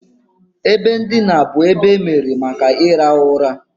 Ebe ndina bụ ebe emebere maka ịrahụ ụra.